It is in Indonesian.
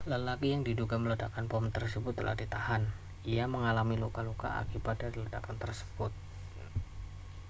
lelaki yang diduga meledakkan bom tersebut telah ditahan ia mengalami luka-luka akibat dari ledakan tersebut